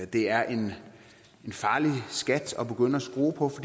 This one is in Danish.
det er en farlig skat at begynde at skrue på